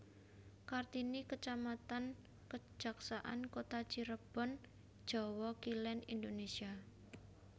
Kartini kecamatan Kejaksaan Kota Cirebon Jawa Kilen Indonésia